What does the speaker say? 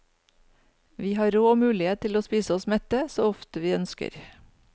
Vi har råd og mulighet til å spise oss mette så ofte vi ønsker.